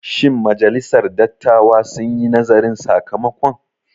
Shin majalisar dattawa sun yi nazarin sakamakon?